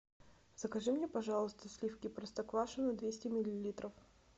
закажи мне пожалуйста сливки простоквашино двести миллилитров